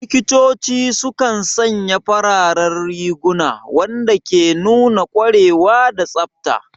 Likitoci sukan sanya fararen riguna, wanda ke nuna ƙwarewa da tsafta.